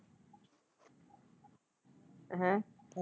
ਹੈਅ।